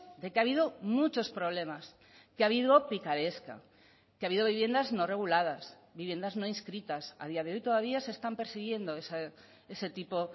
de que ha habido muchos problemas que ha habido picaresca que ha habido viviendas no reguladas viviendas no inscritas a día de hoy todavía se están persiguiendo ese tipo